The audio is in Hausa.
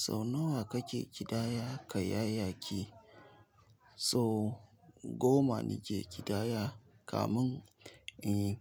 Sau nawa kake ƙidaya kayayyaki? So goma nike ƙidaya kamun, eh